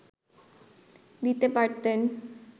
দিতে পারতেন